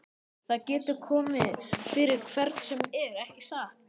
Það getur komið fyrir hvern sem er, ekki satt?